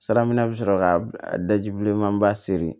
Sira minɛ bɛ sɔrɔ ka daji bilenman ba seri